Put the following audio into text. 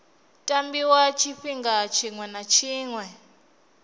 tambiwa tshifhinga tshiṅwe na tshiṅwe